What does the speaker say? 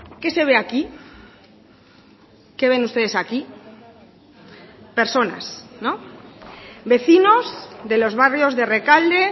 qué se ve aquí qué ven ustedes aquí personas vecinos de los barrios de rekalde